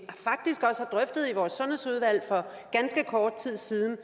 vores sundhedsudvalg for ganske kort tid siden